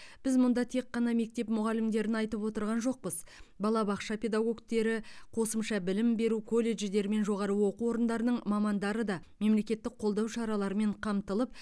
біз мұнда тек қана мектеп мұғалімдерін айтып отырған жоқпыз балабақша педагогтері қосымша білім беру колледждер мен жоғары оқу орындарының мамандары да мемлекеттік қолдау шараларымен қамтылып